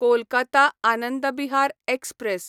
Kolkata Anand Vihar express